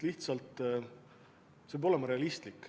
Lihtsalt see peab olema realistlik.